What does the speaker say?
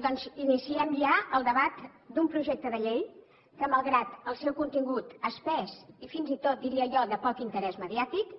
doncs iniciem ja el debat d’un projecte de llei que malgrat el seu contingut espès i fins i tot diria jo de poc interès mediàtic